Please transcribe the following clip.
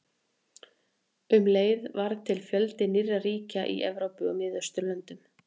Um leið varð til fjöldi nýrra ríkja í Evrópu og Miðausturlöndum.